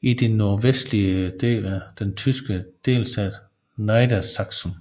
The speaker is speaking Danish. i den nordvestlige del af den tyske delstat Niedersachsen